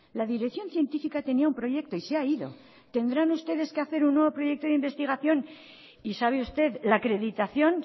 la dirección científica tenía un proyecto y se ha ido tendrán ustedes que hacer un nuevo proyecto de investigación y sabe usted la acreditación